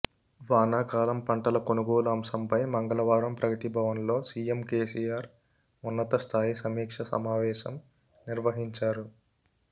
వానాకాలం పంటల కొనుగోలు అంశంపై మంగళవారం ప్రగతిభవన్ లో సీఎం కేసీఆర్ ఉన్నతస్థాయి సమీక్ష సమావేశం నిర్వహించారు